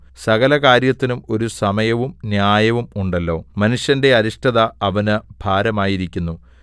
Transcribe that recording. സകല കാര്യത്തിനും ഒരു സമയവും ന്യായവും ഉണ്ടല്ലോ മനുഷ്യന്റെ അരിഷ്ടത അവന് ഭാരമായിരിക്കുന്നു